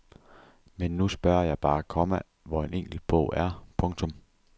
Men nu spørger jeg bare, komma hvor en enkelt bog er. punktum